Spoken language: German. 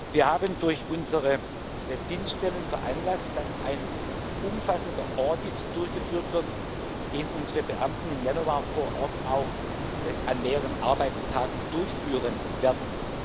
Wir haben durch unsere Dienststellen veranlasst, dass ein umfassender Audit durchgeführt wird, den unsere Beamten im Januar vor Ort auch an mehreren Arbeitstagen durchführen werden.